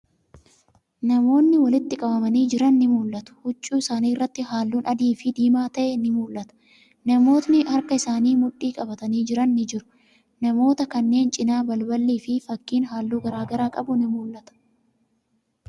Namootni walitti qabamanii jiran ni mul'atu. Huccuu isaanii irratti haallun adii fi diimaa ta'e ni mul'ata. Namootni harka isaaniin mudhii qabatanii jiran ni jiru. Namoota kanneen cinaa, balballi fi fakkiin halluu garagaraa qabu ni mul'ata.